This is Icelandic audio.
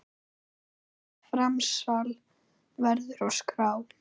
Slíkt framsal verður að skrá.